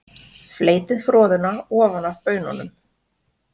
Fleytið froðuna ofan af baununum.